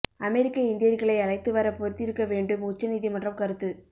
அமெரிக்க இந்தியர்களை அழைத்து வர பொறுத்திருக்க வேண்டும் உச்ச நீதிமன்றம் கருத்து